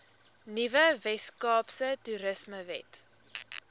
nuwe weskaapse toerismewet